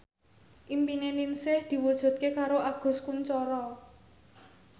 impine Ningsih diwujudke karo Agus Kuncoro